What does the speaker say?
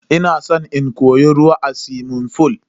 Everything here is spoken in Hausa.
Ina san in koyi ruwa a suwimin fool.